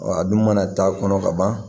a dun mana taa kɔnɔ ka ban